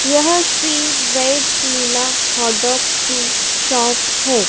यह Shri veg Leela hot dog की shop है।